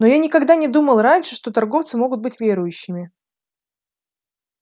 но я никогда не думал раньше что торговцы могут быть верующими